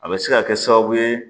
A bɛ se ka kɛ sababu ye